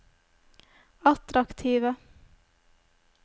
attraktive